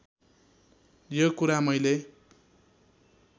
यो कुरा मैले